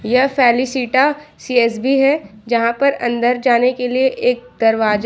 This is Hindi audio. यह फेलिसिटा सी_एस_बी है जहां पर अंदर जाने के लिए एक दरवाजा--